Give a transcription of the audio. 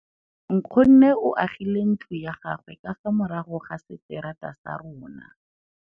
Nkgonne o agile ntlo ya gagwe ka fa morago ga seterata sa rona.